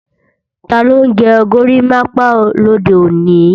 Taló ń gẹ górimápá lòde òní?